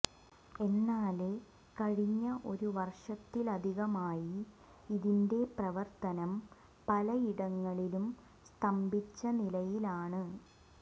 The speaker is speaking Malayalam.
എന്നാല് കഴിഞ്ഞ ഒരു വര്ഷത്തിലധികമായി ഇതിന്റെ പ്രവര്ത്തനം പലയിടങ്ങളിലും സ്തംഭിച്ച നിലയിലാണ്